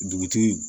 Dugutigi